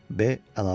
B əlavə eləyirdi.